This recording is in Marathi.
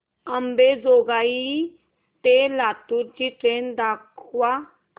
अंबेजोगाई ते लातूर ची ट्रेन दाखवा